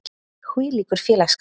Hvílíkur félagsskapur.